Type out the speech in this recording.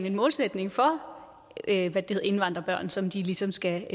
en målsætning for indvandrerbørn som de ligesom skal